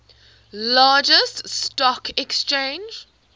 largest stock exchange